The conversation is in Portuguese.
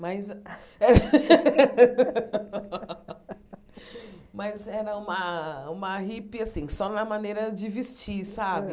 Mas mas era uma uma hippie assim só na maneira de vestir sabe.